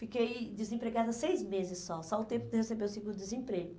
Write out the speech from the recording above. Fiquei desempregada seis meses só, só o tempo de eu receber o segundo desemprego.